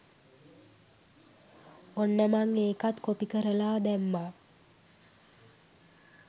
ඔන්න මං ඒකත් කොපි කරලා දැම්මා